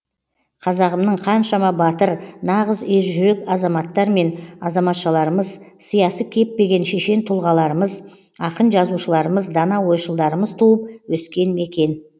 қазағымның қаншама батыр ңағыз ержүрек азаматтар мен азаматшыларымыз сиясы кеппеген шешен тұлғаларымыз ақын жазушыларымыз дана ойшылдарымыз туып өскен мекен